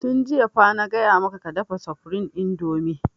Tun jiya fa na gaya maka ka dafa supreme indomie!